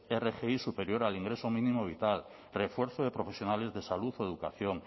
rgi superior al ingreso mínimo vital refuerzo de profesionales de salud o educación